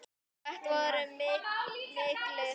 Þetta voru miklir gæjar.